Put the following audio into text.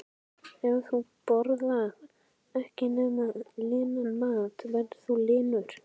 Ef þú borðar ekkert nema linan mat verður þú linur.